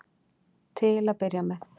Til að byrja með.